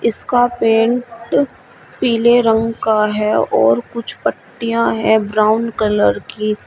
इसका पेंट पीले रंग का है और कुछ पट्टियां है ब्राउन कलर की।